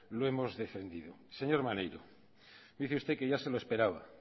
lo hemos defendido señor maneiro dice usted que ya se lo esperaba